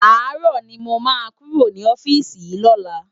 Àárò ni mó má kúró ni òfisi yi lòlá